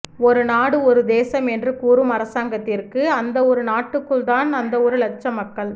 ஒரு நாடு ஒரு தேசம் என்று கூறும் அரசாங்கத்திற்கு அந்த ஒரு நாட்டுக்குள் தான் அந்த ஒரு இலட்சம் மக்கள்